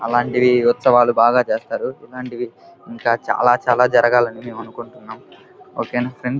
అలాంటి ఉత్సావులు బాగా జరుపుతారు చాలా చాలా జరగాలి అని అంకుంటునున్నాము ఓకే నా ఫ్రెండ్స్ --